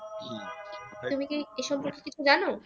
তুমি কি এই সম্পর্কে কিছু জানো?